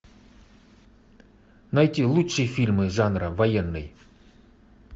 найти лучшие фильмы жанра военный